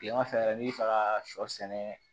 Kileman fɛ yɛrɛ n'i bi fɛ ka sɔ sɛnɛ